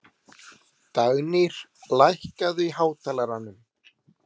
Dagnýr, lækkaðu í hátalaranum.